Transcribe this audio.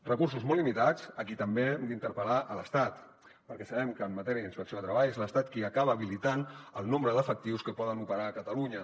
recursos molt limitats a qui també hem d’interpel·lar a l’estat perquè sabem que en matèria d’inspecció de treball és l’estat qui acaba habilitant el nombre d’efectius que poden operar a catalunya